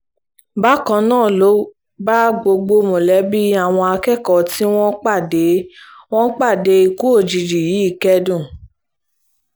bákan náà ló bá gbogbo mọ̀lẹ́bí àwọn akẹ́kọ̀ọ́ tí wọ́n pàdé wọ́n pàdé ikú òjijì yìí kẹ́dùn